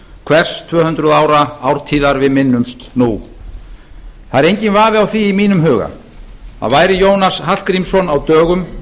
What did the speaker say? hvers tvö hundruð ára ártíðar við minnumst nú það er enginn vafi á því í mínum huga að væri jónas hallgrímsson á dögum